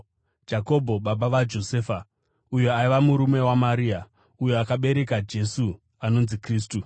Jakobho baba vaJosefa, uyo aiva murume waMaria, uyo akabereka Jesu, anonzi Kristu.